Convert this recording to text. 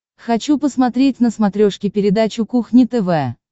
хочу посмотреть на смотрешке передачу кухня тв